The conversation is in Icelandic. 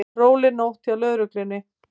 Róleg nótt hjá lögreglunni